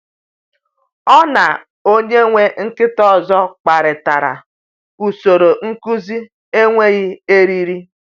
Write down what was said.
Ọ na onye nwe nkịta ọzọ kparịtara usoro nkuzi enweghị eriri.